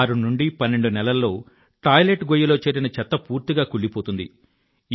ఆరు నుండి పన్నెండు నెలల్లో టాయిలెట్ గొయ్యి లో చేరిన చెత్త పూర్తిగా కుళ్ళిపోతుంది